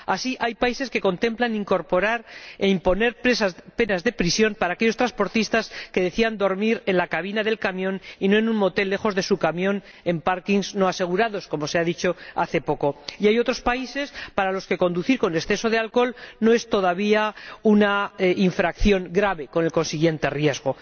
Así, hay países que contemplan incorporar e imponer penas de prisión para aquellos transportistas que decidan dormir en la cabina del camión —y no en un motel lejos de su camión— en aparcamientos no asegurados —como se ha dicho hace poco—, y hay otros países para los que conducir con exceso de alcohol no es todavía una infracción grave, con el consiguiente riesgo.